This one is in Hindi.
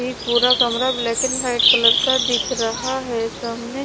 पूरा कमरा ब्लैक एंड वाइट कलर का दिख रहा है सामने--